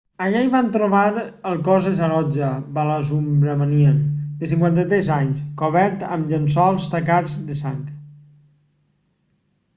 allà hi van trobar el cos de saroja balasubramanian de 53 anys cobert amb llençols tacats de sang